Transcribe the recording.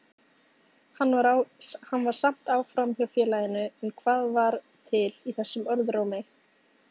Hann var samt áfram hjá félaginu, en hvað var til í þessum orðrómi?